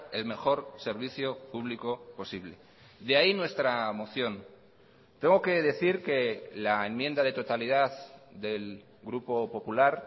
el mejor servicio público posible de ahí nuestra moción tengo que decir que la enmienda de totalidad del grupo popular